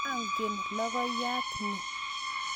Angen logoiyat ni.